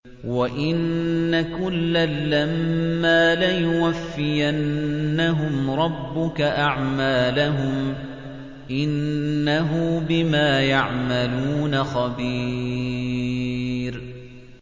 وَإِنَّ كُلًّا لَّمَّا لَيُوَفِّيَنَّهُمْ رَبُّكَ أَعْمَالَهُمْ ۚ إِنَّهُ بِمَا يَعْمَلُونَ خَبِيرٌ